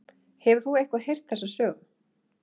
Hefur þú eitthvað heyrt þessa sögu?